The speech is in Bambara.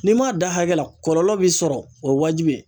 N'i m'a da hakɛla kɔlɔlɔ bi sɔrɔ o ye wajibi ye.